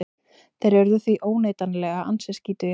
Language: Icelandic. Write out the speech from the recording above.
Þeir urðu því óneitanlega ansi skítugir.